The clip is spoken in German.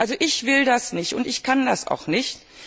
Also ich will das nicht und ich kann das auch nicht.